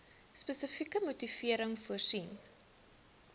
spesifieke motivering voorsien